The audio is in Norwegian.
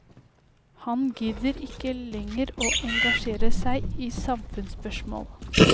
Han gidder ikke lenger å engasjere seg i samfunnsspørsmål.